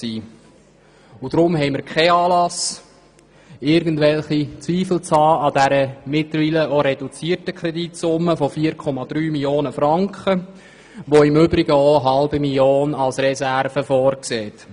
Deshalb haben wir keinen Anlass, an dieser mittlerweile reduzierten Kreditsumme von 4,3 Mio. Franken zu zweifeln, die im Übrigen auch eine halbe Million Franken als Reserve vorsieht.